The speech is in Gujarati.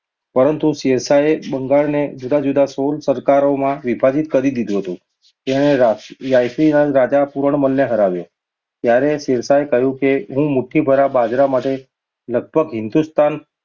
પરંતુ શેરશાહે બંગાળનો જુદા-જુદા સોળ સરકારો માં વિભાજિત કરી દીધું હતું. તેણે રાયસીનના રાજા પુરણમલને હરાવ્યો, ત્યારે શેરશાહે કહ્યું હતું કે, હું મુઠ્ઠીભર બાજરા માટે લગભગ હિંદુસ્તાન